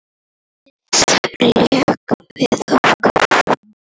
Lánið lék við okkur.